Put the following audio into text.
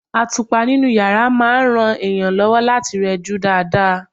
Àtùpà inú yàrá máa ń ran èèyàn lọ́wọ́ láti rẹjú dáadáa.